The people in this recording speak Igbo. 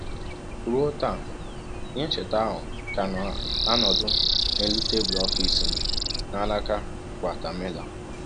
Ruo taa, ihe ncheta ahụ ka na-anọdụ n’elu tebụl ọfịs m n’alaka Guatemala.